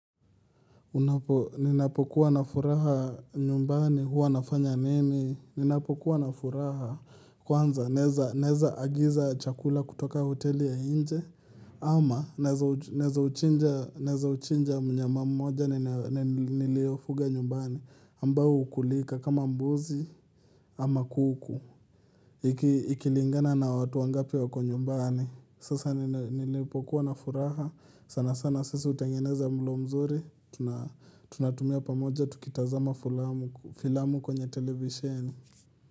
Ninapokuwa na furaha nyumbani huwa nafanya nini? Ninapokuwa na furaha kwanza naeza agiza chakula kutoka hoteli ya nje ama naeza uchinja mnyama mmoja ni niliofuga nyumbani ambao hukulika kama mbuzi ama kuku. Ikilingana na watu wangapinwako nyumbani Sasa nilipokuwa na furaha sana sana sisi hutengeneza mlo mzuri Tunatumia pamoja tukitazama filamu kwenye televisheni.